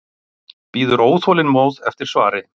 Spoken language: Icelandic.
Bíður óþolinmóð eftir svari.